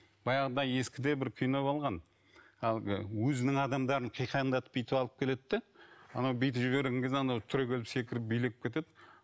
баяғыда ескіде бір кино болған әлгі өзінің адамдарын қиқаңдатып бүйтіп алып келеді де анау биді жіберген кезде анау түрегеліп секіріп билеп кетеді